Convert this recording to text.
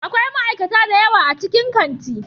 Akwai ma'aikata da yawa a cikin kanti.